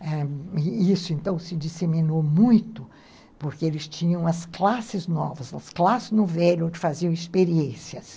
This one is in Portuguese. ãh, e isso então se disseminou muito, porque eles tinham as classes novas, as classes no velho, onde faziam experiências.